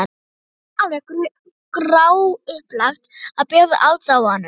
Og þá fannst mér alveg gráupplagt að bjóða aðdáandanum.